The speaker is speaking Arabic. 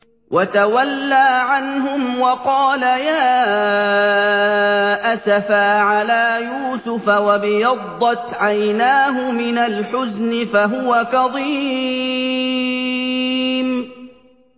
وَتَوَلَّىٰ عَنْهُمْ وَقَالَ يَا أَسَفَىٰ عَلَىٰ يُوسُفَ وَابْيَضَّتْ عَيْنَاهُ مِنَ الْحُزْنِ فَهُوَ كَظِيمٌ